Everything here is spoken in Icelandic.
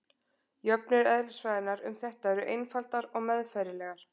jöfnur eðlisfræðinnar um þetta eru einfaldar og meðfærilegar